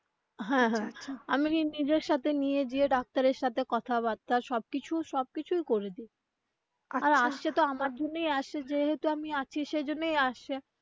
হ্যা হ্যা আমি কিন্তু নিজের সাথে নিয়ে যেয়ে ডাক্তারের সাথে কথাবার্তা সব কিছু সব কিছুই করে দিই আর আসছে তো আমার জন্যই আসছে যেহেতু আমি আছি সেইজন্যই আসছে.